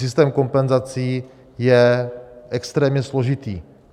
Systém kompenzací je extrémně složitý.